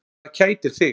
Hvað kætir þig?